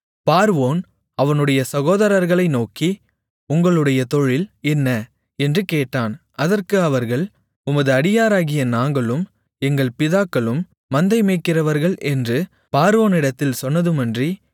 பார்வோன் அவனுடைய சகோதரர்களை நோக்கி உங்களுடைய தொழில் என்ன என்று கேட்டான் அதற்கு அவர்கள் உமது அடியாராகிய நாங்களும் எங்கள் பிதாக்களும் மந்தை மேய்க்கிறவர்கள் என்று பார்வோனிடத்தில் சொன்னதுமன்றி